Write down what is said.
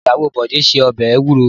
Ìyàwọ Bọ̀dé se ọbẹ̀ ewúro.